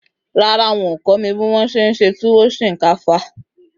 Rárá, wọn ò kọ́ mi bí wọn se e se túwó sìnkáfá